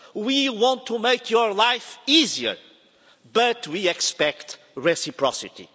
we want to make your life easier, but we expect reciprocity.